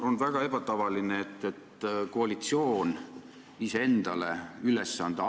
On väga ebatavaline, et koalitsioon annab endale ise ülesande.